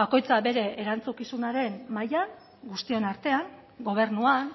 bakoitza bere erantzukizunaren mailan guztion artean gobernuan